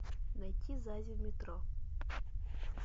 найти зази в метро